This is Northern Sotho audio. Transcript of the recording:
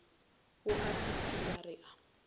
bo a fihlelwa re a